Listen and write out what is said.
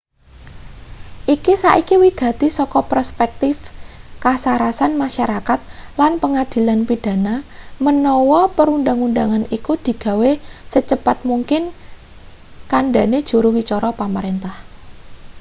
"iki saiki wigati saka perspektif kasarasan masyarakat lan pengadilan pidana menawa perundang-undangan iku digawe sacepet mungkin kandhane juru wicara pamarentah.